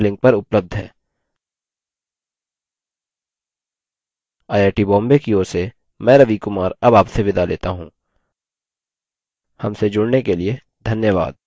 I I T Bombay की ओर से मैं रवि कुमार अब आपसे विदा लेता हूँ हमसे जुड़ने के लिए धन्यवाद